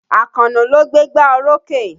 Àkànó ló gbégbá orókè.